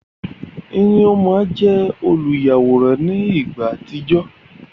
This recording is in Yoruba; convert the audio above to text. Nneoma jẹ oluyaworan ni ìgbà àtijọ